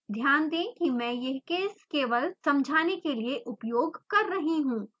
ध्यान दें कि मैं यह केस केवल समझाने के लिए उपयोग कर रही हूँ